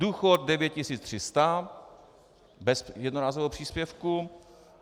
Důchod 9300, bez jednorázového příspěvku.